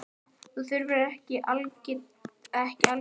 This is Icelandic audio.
Það er nú ekki algilt og ekki algengt?